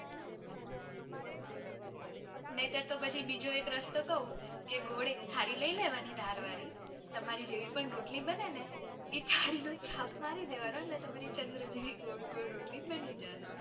નયતર તો પછી બીજો એક રસ્તો કવ કે ગોળ એક થાળી લય લેવાની ધાર વાળી તમારી જેવી પણ રોટલી બને ને ઇ થાળી નો છાપ મારી દેવાનો એટલે તમારી ચંદ્ર જેવી ગોળ ગોળ રોટલી બની જાશે.